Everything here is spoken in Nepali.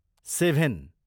सेभेन